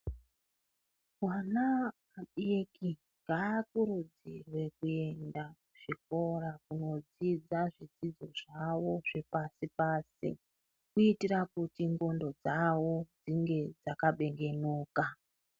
Vana vadiki ngavakurudzirwe kuenda kuchikora kunodzidza zvidzidzo zvavo zvepashi pashi kuitira kuti ndxondo dzavo dzinge dzakabengenuka.